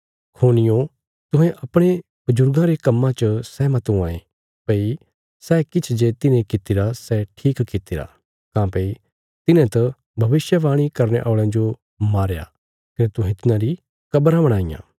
खूनियो तुहें अपणे बजुर्गां रे कम्मां च सहमत हुआं ये भई सै किछ जे तिन्हें कीतिरा सै ठीक कीतिरा काँह्भई तिन्हे त भविष्यवाणी करने औल़यां जो मारया कने तुहें तिन्हारी कब्राँ बणाईयां